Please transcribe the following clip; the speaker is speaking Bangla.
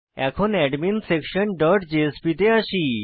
এখন adminsectionজেএসপি তে আসি